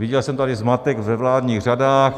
Viděl jsem tady zmatek ve vládních řadách.